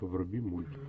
вруби мульт